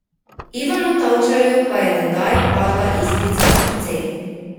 Ivanu Tavčarju pa je tedaj padla iskrica v srce.